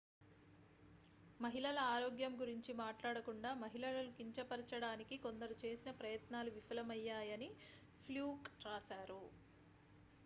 మహిళల ఆరోగ్యం గురించి మాట్లాడకుండా మహిళలను కించపరచడానికి కొందరు చేసిన ప్రయత్నాలు విఫలమయ్యాయని fluke రాశారు